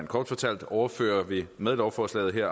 kort fortalt overfører vi med lovforslaget her